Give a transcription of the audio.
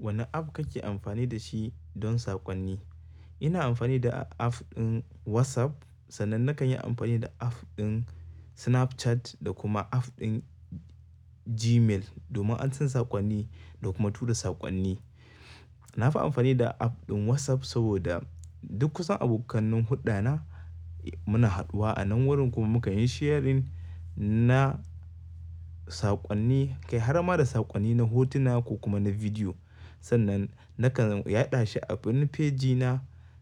Wani app kake amfani da shi don saƙonni? Ina amfani da app ɗin WhatsApp. Sannan nakan yi amfani da app ɗin Snapchat da kuma app ɗin Gmail domin ansan saƙonni da kuma tura saƙonni. Na fi amfani da app ɗin WhatsApp saboda duk kusan abokanin huɗana muna haɗuwa a nan wurin kuma mukan yi sharing na saƙonni, kai har ma da saƙonni na hotuna ko kuma na bidiyo. Sannan nakan yaɗa shi a ɓin fejina